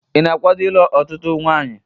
Ị na-akwaado ịlụ ọtụtụ nwanyị?